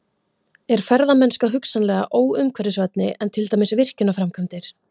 Er ferðamennska hugsanlega óumhverfisvænni en til dæmis virkjunarframkvæmdir?